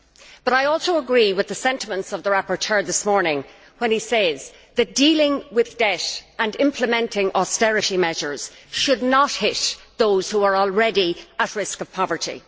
But I also agree with the sentiments of the rapporteur this morning when he says that dealing with debt and implementing austerity measures should not hit those who are already at risk of poverty.